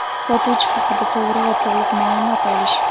sotuvchi) haqida to‘g‘ri va to‘liq maʼlumot olish;.